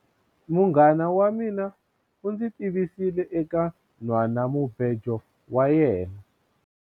Munghana wa mina u ndzi tivisile eka nhwanamubejo wa yena.